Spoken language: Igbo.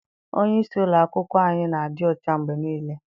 Onyeisi ụlọakwụkwọ anyị na-adị ọcha mgbe niile.